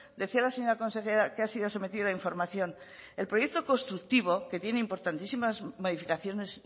decía la señora consejera que ha sido sometido a información el proyecto constructivo que tiene importantísimas modificaciones